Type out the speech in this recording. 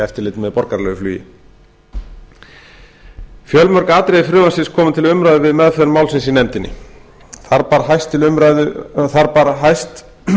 eftirliti með borgaralegu flugi fjölmörg atriði frumvarpsins komu til umræðu við meðferð málsins í nefndinni þar bar hæst